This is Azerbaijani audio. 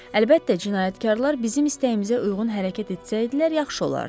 Əlbəttə, cinayətkarlar bizim istəyimizə uyğun hərəkət etsəydilər, yaxşı olardı.